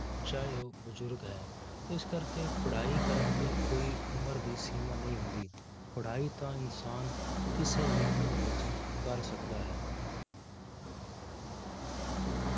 ਚਾਹੇ ਉਹ ਬਜ਼ੁਰਗ ਹੈ ਇਸ ਕਰਕੇ ਪੜ੍ਹਾਈ ਕਰਨ ਦੀ ਕੋਈ ਉਮਰ ਦੀ ਸੀਮਾ ਨਹੀਂ ਹੁੰਦੀ, ਪੜ੍ਹਾਈ ਤਾਂ ਇਨਸਾਨ ਕਿਸੇ ਵੀ ਉਮਰ ਵਿੱਚ ਕਰ ਸਕਦਾ ਹੈ।